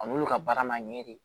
An b'olu ka baara ma ɲɛ de